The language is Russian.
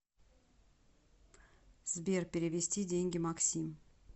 сбер перевести деньги максим